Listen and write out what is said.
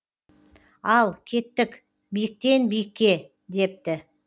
ал кеттік биіктен биікке депті